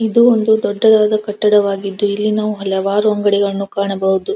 ಇದು ಒಂದು ದೊಡ್ಡದಾದ ಕಟ್ಟಡವಾಗಿದ್ದು ಇಲ್ಲಿ ನಾವು ಇಲ್ಲಿ ನಾವು ಹಲವಾರು ಅಂಗಡಿಗಳನ್ನ ಕಾಣಬಹುದು.